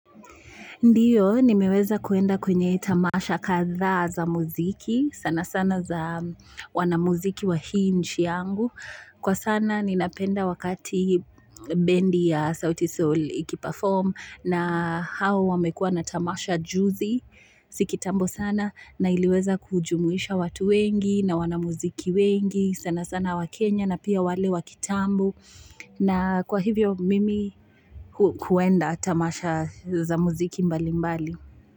Ndiyo, nimeweza kuenda kwenye tamasha kadhaa za muziki, sana sana za wanamuziki wa hii nchi yangu. Kwa sana, ninapenda wakati bendi ya Sauti Sol iki perform na hao wamekuwa na tamasha juzi, si kitambo sana, na iliweza kujumuisha watu wengi na wanamuziki wengi, sana sana wa Kenya na pia wale wa kitambo. Na kwa hivyo mimi kuenda tamasha za muziki mbali mbali.